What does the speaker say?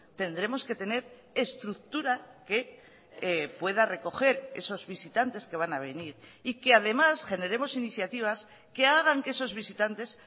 tendremos que tener estructura que pueda recoger esos visitantes que van a venir y que además generemos iniciativas que hagan que esos visitantes